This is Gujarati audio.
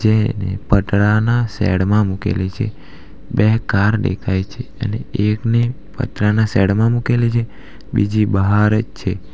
જે પતરાનાં સેડ માં મૂકેલી છે બે કાર દેખાય છે અને એક ને પતરાનાં સેડ માં મૂકેલી છે બીજી બહાર જ છે.